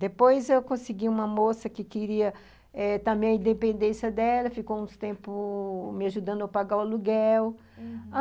Depois eu consegui uma moça que queria eh também a independência dela, ficou um tempo me ajudando a pagar o aluguel, uhum.